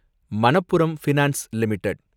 Manappuram finance limited